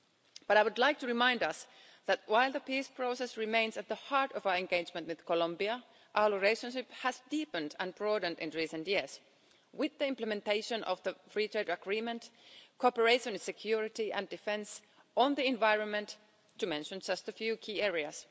But I would like to remind us that while the peace process remains at the heart of our engagement with Colombia, our relationship has deepened and broadened in recent years with the implementation of the free trade agreement, cooperation on security and defence, and on the environment, to mention just a few key areas.